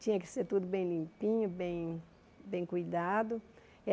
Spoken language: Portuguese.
Tinha que ser tudo bem limpinho, bem bem cuidado.